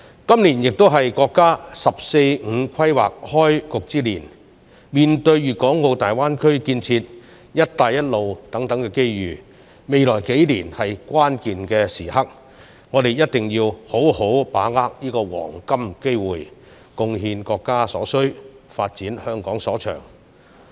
今年亦是國家"十四五"規劃開局之年，面對粵港澳大灣區建設、"一帶一路"等機遇，未來數年是關鍵時刻，我們一定要好好把握這個黃金機會，貢獻國家所需，發展香港所長。